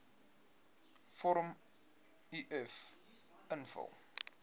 vorm uf invul